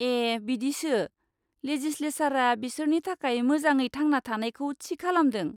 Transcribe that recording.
ए बिदिसो! लेजिसलेसारआ बिसोरनि थाखाय मोजाङै थांना थानायखौ थि खालामदों।